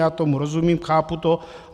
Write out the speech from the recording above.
Já tomu rozumím, chápu to.